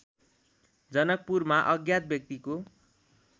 जनकपुरमा अज्ञात व्यक्तिको